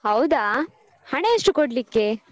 ಹೌದಾ ಹಣ ಎಷ್ಟು ಕೊಡ್ಲಿಕ್ಕೆ?